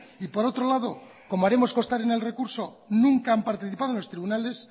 y por otro lado como haremos constar en el recurso nunca han participado en los tribunales